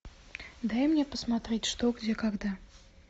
дай мне посмотреть что где когда